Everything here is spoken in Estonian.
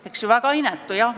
Eks ole, väga inetu!